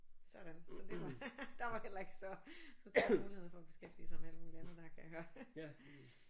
Sådan så det var der var heller ikke så så stor mulighed for at beskæftige sig med alt muligt andet der kan jeg høre